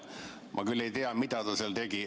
Ma küll ei tea, mida ta seal tegi.